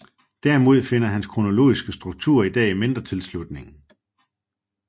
Derimod finder hans kronologiske struktur i dag mindre tilslutning